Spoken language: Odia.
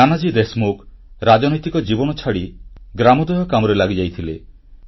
ନାନାଜୀ ଦେଶମୁଖ ରାଜନୈତିକ ଜୀବନ ଛାଡି ଗ୍ରାମୋଦୟ କାମରେ ଲାଗିଯାଇଥିଲେ